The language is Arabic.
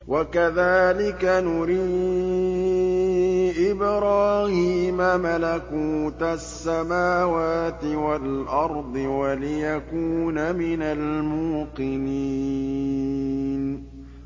وَكَذَٰلِكَ نُرِي إِبْرَاهِيمَ مَلَكُوتَ السَّمَاوَاتِ وَالْأَرْضِ وَلِيَكُونَ مِنَ الْمُوقِنِينَ